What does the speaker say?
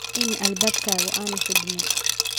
In albaabkaagu aanu xidhmin.